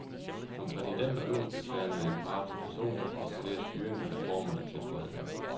Som præsident og øverstbefalende er jeg parat til personligt at kontrollere styringen af reformerne, tilføjede han.